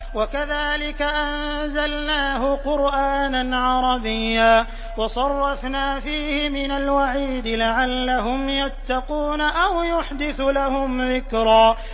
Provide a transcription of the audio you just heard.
وَكَذَٰلِكَ أَنزَلْنَاهُ قُرْآنًا عَرَبِيًّا وَصَرَّفْنَا فِيهِ مِنَ الْوَعِيدِ لَعَلَّهُمْ يَتَّقُونَ أَوْ يُحْدِثُ لَهُمْ ذِكْرًا